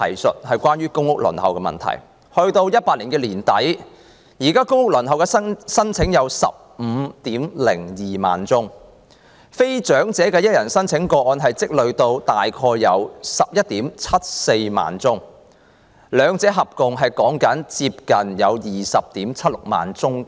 截至2018年年底，一般公屋申請有 150,200 宗，非長者一人申請數目累積至約 117,400 宗，兩者合共約 207,600 宗。